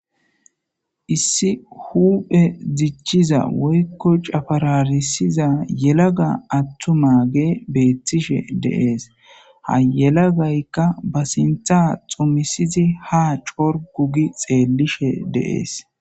issi huphe dichiza woykko cabararisiza yelaga attuma ge beettishe dees. ha yelagaykka ba sinththa xumisizi ha corgu gi xeellishe dees.